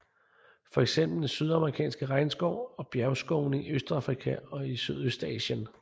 For eksempel den sydamerikanske regnskov og bjergskovene i Østafrika og Sydøstasien